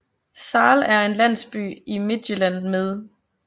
Sahl er en landsby i Midtjylland med